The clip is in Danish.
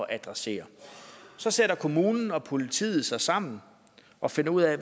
at adressere så sætter kommunen og politiet sig sammen og finder ud af